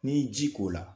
N'i ye ji k'o la